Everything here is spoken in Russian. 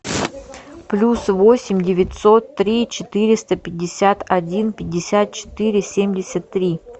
плюс восемь девятьсот три четыреста пятьдесят один пятьдесят четыре семьдесят три